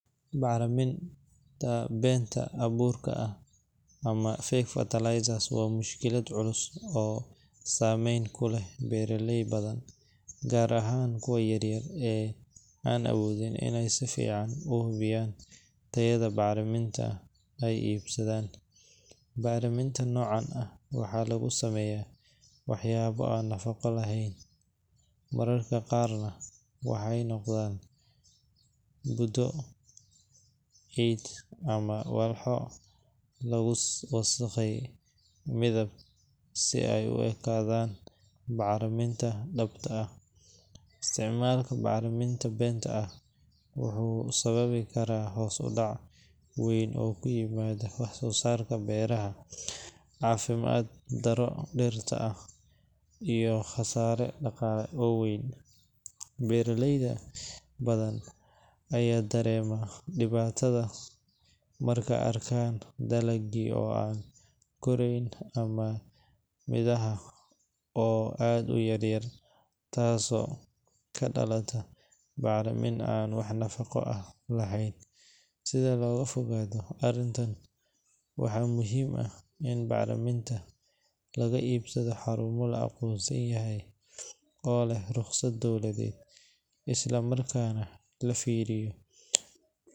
Bacriminta been abuurka ah ama fake fertilizers waa mushkilad culus oo saameyn ku leh beeraley badan, gaar ahaan kuwa yaryar ee aan awoodin in ay si fiican u hubiyaan tayada bacriminta ay iibsadaan. Bacriminta noocan ah waxaa lagu sameeyaa waxyaabo aan nafaqo lahayn, mararka qaarna waxay noqdaan budo, ciid, ama walxo lagu qasay midab si ay u ekaato bacriminta dhabta ah. Isticmaalka bacrimin been ah wuxuu sababi karaa hoos u dhac weyn oo ku yimaada wax-soosaarka beeraha, caafimaad darro dhirta ah, iyo khasaare dhaqaale oo weyn. Beeraley badan ayaa dareema dhibaatada markay arkaan dalaggii oo aan koraayn ama midhaha oo aad u yaryar, taasoo ka dhalata bacriminta aan wax nafaqo ah lahayn. Si looga fogaado arrintan, waxaa muhiim ah in bacriminta laga iibsado xarumo la aqoonsan yahay oo leh rukhsad dowladeed, isla markaana la fiiriyo .